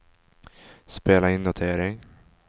spela in notering